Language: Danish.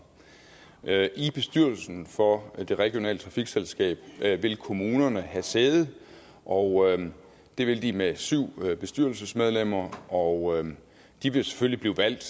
er det i bestyrelsen for det regionale trafikselskab vil kommunerne have sæde og det vil de med syv bestyrelsesmedlemmer og de vil selvfølgelig blive valgt